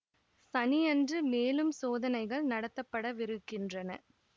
சனியன்று மேலும் சோதனைகள் நடத்தப்பட விருக்கின்றன